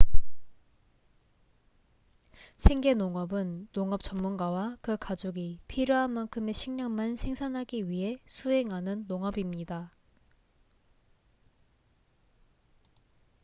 생계 농업은 농업 전문가와 그 가족이 필요한 만큼의 식량만 생산하기 위해 수행하는 농업입니다